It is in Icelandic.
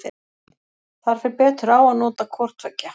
Þar fer betur á að nota hvor tveggja.